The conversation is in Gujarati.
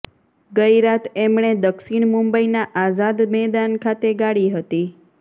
ગઈ રાત એમણે દક્ષિણ મુંબઈના આઝાદ મેદાન ખાતે ગાળી હતી